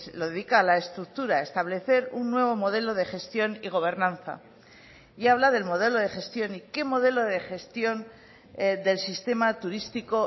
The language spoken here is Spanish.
lo dedica a la estructura establecer un nuevo modelo de gestión y gobernanza y habla del modelo de gestión y qué modelo de gestión del sistema turístico